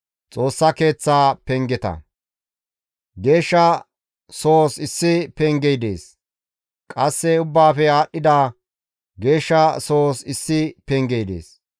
Geeshsha Sohozas issi pengey dees; qasse Ubbaafe Aadhdhida Geeshsha zaissi pengey dees.